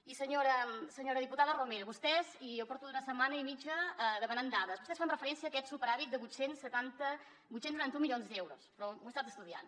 i senyora diputada romero vostès i jo porto una setmana i mitja demanant dades fan referència a aquest superàvit de vuit cents i noranta un milions d’euros però ho he estat estudiant